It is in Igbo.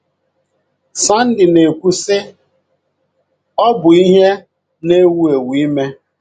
Sandy na-ekwu, sị: “ Ọ bụ ihe na-ewu ewu ime. ”